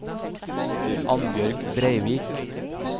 Annbjørg Breivik